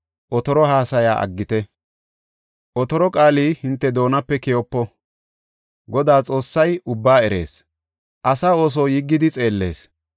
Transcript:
Otoro haasaya aggite; otoro qaali hinte doonape keyopo. Godaa Xoossay ubbaa erees; asa ooso yiggidi xeellees.